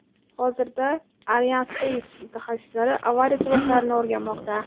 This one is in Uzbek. Hozirda Arianespace mutaxassislari avariya sabablarini o‘rganmoqda.